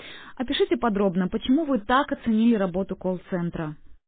опишите подробно чему вы так оценили работу колл-центра